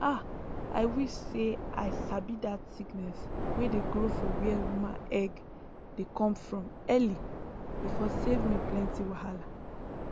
ah i wish say i sabi that sickness wey dey grow for where woman egg dey come from early e for save me plenty wahala